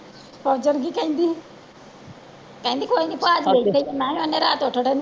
ਫ਼ੋਜ਼ਣ ਕੀ ਕਹਿੰਦੀ ਕਹਿੰਦੀ ਕੋਈ ਨੀ ਭਾਜੀ